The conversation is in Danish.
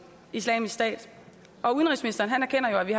islamisk stat og udenrigsministeren erkender jo at vi